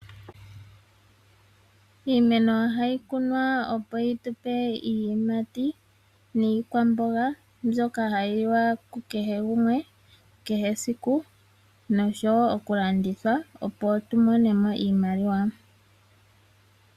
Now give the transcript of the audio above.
Iimeno ohayi kunwa opo yitupe iiyimati niikwamboga mbyoka hayi liwa kukehe gumwe, kehe esiku noshowoo okulanditha opo tumonemo iimaliwa.